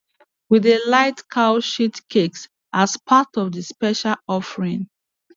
we dey light cow shit cakes as part of the special offering